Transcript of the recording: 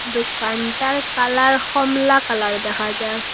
দোকানটার কালার হমলা কালার দেখা যার।